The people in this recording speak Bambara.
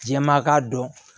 Jɛma k'a dɔn